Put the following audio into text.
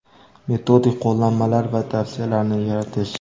metodik qo‘llanmalari va tavsiyalarini yaratish;.